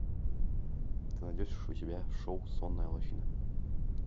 ты найдешь у себя шоу сонная лощина